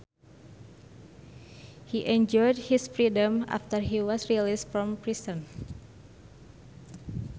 He enjoyed his freedom after he was released from prison